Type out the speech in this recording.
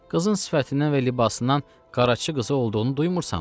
Qızın sifətindən və libasından Qaraca qızı olduğunu duymursanmı?